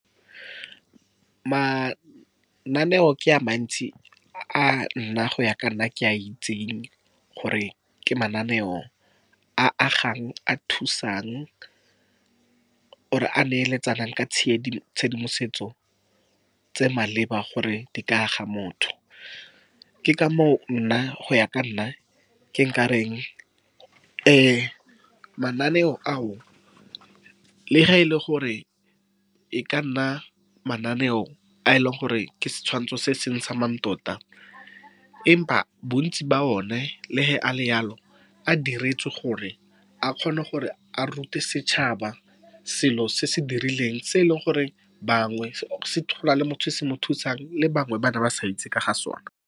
Mananeo ke a mantsi a nna. Go ya ka nna, ke a itseng gore ke mananeo a agang, a thusang, or a neeletsanang ka tshedimosetso tse maleba, gore di ka aga motho. Ke ka moo nna, go ya ka nna, ke nka reng mananeo ao le ge e le gore e ka nna mananeo a e leng gore ke setshwantsho se se ntshang ma . Empa bontsi ba one le a le yalo, a diretswe gore a kgone gore a rute setšhaba selo se se dirileng se e leng gore bangwe . Gona le motho o se mo thusang, le bangwe ba ne ba sa itse ka ga sona.